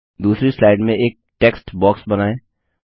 दूसरी स्लाइड में एक टेक्स्ट बॉक्स बनाए